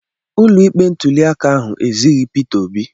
Ụlọ ikpe ntuli aka ahụ ezighị Peter Obi.